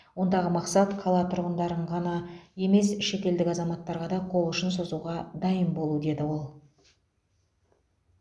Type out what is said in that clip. ондағы мақсат қала тұрғындарын ғана емес шетелдік азаматтарға да қол ұшын созуға дайын болу деді ол